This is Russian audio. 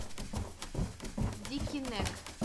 дикий нек